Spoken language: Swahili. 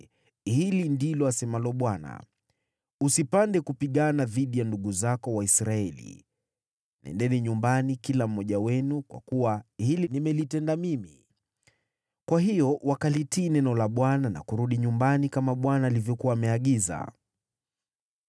‘Hili ndilo asemalo Bwana : Msipande kupigana dhidi ya ndugu zenu, Waisraeli. Nendeni nyumbani, kila mmoja wenu, kwa kuwa hili nimelitenda mimi.’ ” Kwa hiyo wakalitii neno la Bwana na kurudi nyumbani, kama Bwana alivyokuwa ameagiza.